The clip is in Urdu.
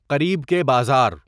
قریب کے بازار